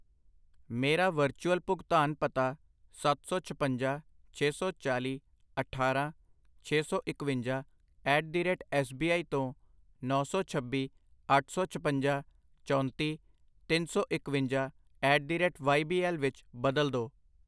ਮੇਰਾ ਵਰਚੁਅਲ ਭੁਗਤਾਨ ਪਤਾ ਸੱਤ ਸੌ ਛਪੰਜਾ, ਛੇ ਸੌ ਚਾਲ੍ਹੀ, ਅਠਾਰਾਂ, ਛੇ ਸੌ ਇਕਵੰਜਾ at the rate S B I ਤੋਂ ਨੌਂ ਸੌ ਛੱਬੀ, ਅੱਠ ਸੌ ਛਪੰਜਾ, ਚੌਂਤੀ, ਤਿੰਨ ਸੌ ਇਕਵੰਜਾ at the rate Y B L ਵਿੱਚ ਬਦਲ ਦੋI